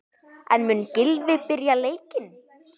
En mun Gylfi byrja leikinn?